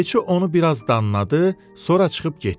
Keçi onu biraz danladı, sonra çıxıb getdi.